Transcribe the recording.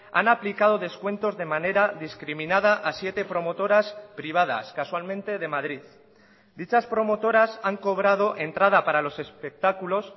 han aplicado descuentos de manera discriminada a siete promotoras privadas casualmente de madrid dichas promotoras han cobrado entrada para los espectáculos